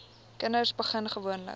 kinders begin gewoonlik